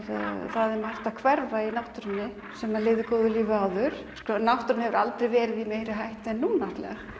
það er margt að hverfa í náttúrunni sem lifði góðu lífi áður náttúran hefur aldrei verið í meiri hættu en núna